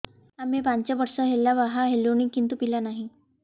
ଆମେ ପାଞ୍ଚ ବର୍ଷ ହେଲା ବାହା ହେଲୁଣି କିନ୍ତୁ ପିଲା ନାହିଁ